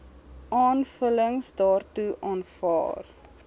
aanvullings daartoe aanvaar